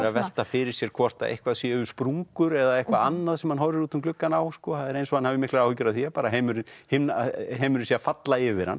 velta fyrir sér hvort að eitthvað séu sprungur eða eitthvað annað sem hann horfir út um gluggann á það er eins og hann hafi miklar áhyggjur af því að heimurinn heimurinn sé að falla yfir hann